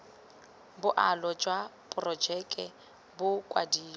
boalo jwa porojeke bo kwadilwe